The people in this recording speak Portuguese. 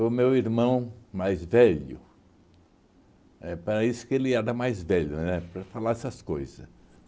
o meu irmão mais velho, éh para isso que ele era mais velho, né? Para falar essas coisa